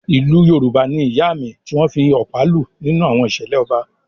Ìlù Yorùbá ni “Ìyáàmì” tí wọ́n ń fi ọ̀pá lù nínú àwọn ìṣẹ̀lẹ̀ ọba.